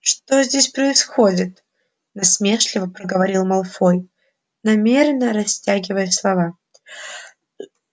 что здесь происходит насмешливо проговорил малфой манерно растягивая слова